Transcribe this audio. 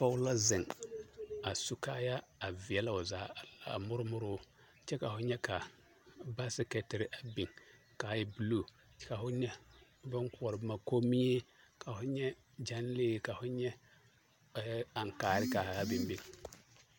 Pɔge la ziŋ a su kaayaa a vielɛ o zaa